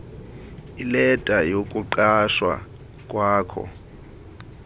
ileta yokuqeshwa kwakho